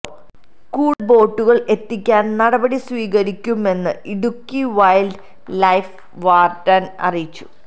കൂടുതൽ ബോട്ടുകൾ എത്തിക്കാൻ നടപടി സ്വീകരിക്കുമെന്ന് ഇടുക്കി വൈൽഡ് ലൈഫ് വാർഡൻ അറിയിച്ചു